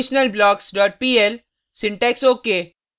conditionalblockspl syntax ok